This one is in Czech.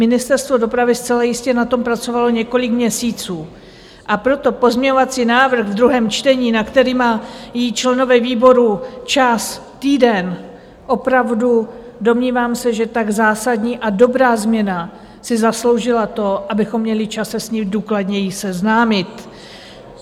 Ministerstvo dopravy zcela jistě na tom pracovalo několik měsíců, a proto pozměňovací návrh v druhém čtení, na který mají členové výboru čas týden, opravdu, domnívám se, že tak zásadní a dobrá změna si zasloužila to, abychom měli čas se s ní důkladněji seznámit.